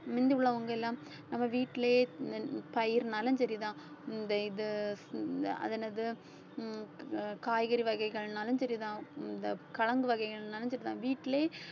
முந்தி உள்ளவங்க எல்லாம் நம்ம வீட்டிலேயே பயிர்னாலும் சரிதான் இந்த இது இந்த அது என்னது ஹம் ஆஹ் காய்கறி வகைகள்னாலும் சரிதான் ஹம் இந்த கிழங்கு வகைகள்னாலும் சரிதான் வீட்டிலேயே